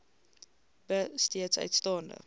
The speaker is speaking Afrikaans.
b steeds uitstaande